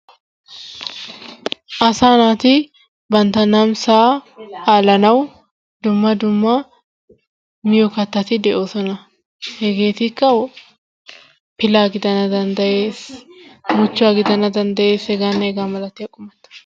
Asa naati bantta namisaa alanawu dumma dumma miiyo kattati de'oosona. hegettikka pilaa gidana danddayees, muchchuwa gidana deanddayees, h.h..m...